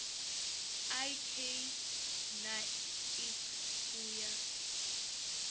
ik na iks u ya